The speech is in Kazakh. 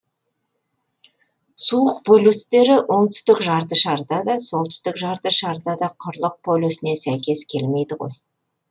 суық полюстері оңтүстік жарты шарда да солтүстік жарты шарда да құрылық полюсіне сәйкес келмейді ғой